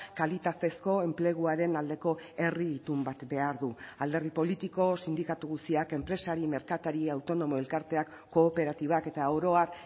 kalitatezko enpleguaren aldeko herri itun bat behar du alderdi politiko sindikatu guztiak enpresari merkatari autonomo elkarteak kooperatibak eta oro har